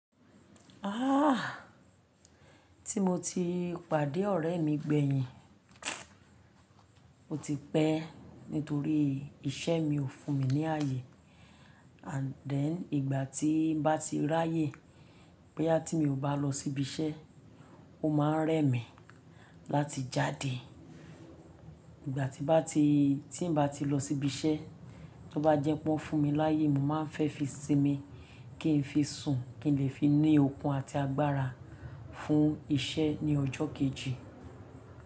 Ah! Ti mo ti pàdé ọ̀rẹ́ mi gbẹ̀yìn, ó ti pẹ́ nítorí iṣẹ́ mi ò fún mi ní ààyè. And then ìgbà tí ń bá ti ráyè, pé boyá tí mi ò bá lọ síbi iṣẹ́, ó máa ń rẹ́ mi láti jáde. Ìgbà tí bá ti-- tí ń bá ti lọ síbi iṣẹ́, tí ó bá jẹ pó ń fún mi láyè, mo máa ń fẹ́ fi sinmi kí n fi sùn, kí n lè fi ní okun àti agbára fún iṣẹ́ ní ọjọ́ kejì.